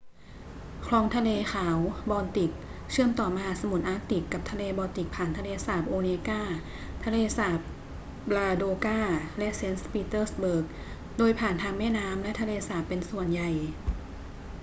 คลองทะเลขาว บอลติกเชื่อมต่อมหาสมุทรอาร์กติกกับทะเลบอลติกผ่านทะเลสาบโอเนกา ทะเลสาบลาโดกา และเซนต์ปีเตอร์สเบิร์ก โดยผ่านทางแม่น้ำและทะเลสาบเป็นส่วนใหญ่